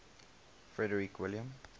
frederick william